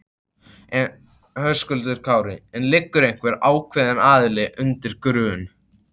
Höskuldur Kári: En liggur einhver ákveðin aðili undir grun?